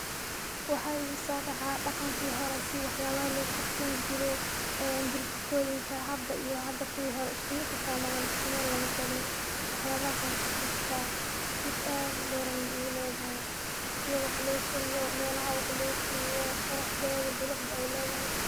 Waxa iguso dhaca dhaqanki hore si waxyaba loo karsan jire, ee burjikoyinka hada iyo hada kuwi hore iskumid ma ahan isku Mel na matagna, waxyalahaas anku xasuusta ,xasuus aad u dheer ayayna igu ledehe, sida wax loo kariyo, melaha wax loo kariyo, qoraxdeeda bilicda ay ledahay.